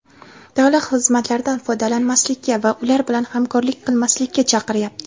davlat xizmatlaridan foydalanmaslikka va ular bilan hamkorlik qilmaslikka chaqiryapti.